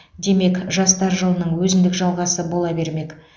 демек жастар жылының өзіндік жалғасы бола бермек